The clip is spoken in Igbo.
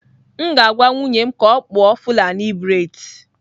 M ga-agwa nwunye m ka ọ kpụọ fulani braids.